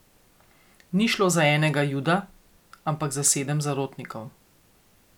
Ni šlo za enega juda, ampak za sedem zarotnikov.